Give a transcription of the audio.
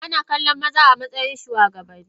Ana kallon maza amatsayin shugabanni.